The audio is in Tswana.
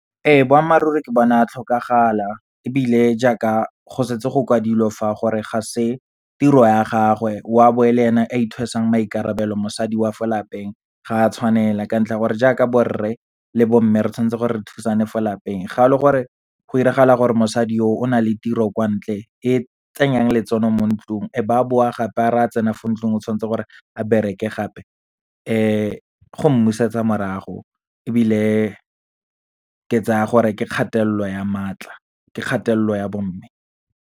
Ee, boammaaruri ke bona a tlhokagala, ebile jaaka go setse go kwadilwe fa gore ga se tiro ya gagwe o a bo e le ena a ithwesang maikarabelo. Mosadi wa fo lapeng ga a tshwanela, ka ntlha ya gore jaaka borre le bomme, re tshwantse gore re thusane fo lapeng. Ga e le gore go iragala gore mosadi yo, o na le tiro kwa ntle e tsenyang letseno mo ntlung, e ba boa gape a re a tsena fo ntlung o tshwantse gore a bereke gape, go mmusetsa morago, ebile ke tsaya gore ke kgatelelo ya maatla, ke kgatelelo ya bomme.